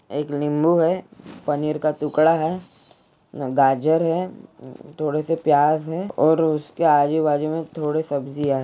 एक निम्बू है पनीर का टुकड़ा है गाजर है थोड़े से प्याज है और उसके आजू बाजू में थोड़े सब्जियां है।